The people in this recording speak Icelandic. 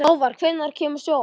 Hávar, hvenær kemur sjöan?